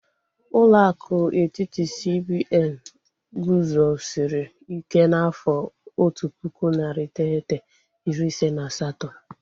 Ụlọ akụ etiti, CBN guzosiri ike n'afọ otu pụkụ, narị iteghete, iri ise na asatọ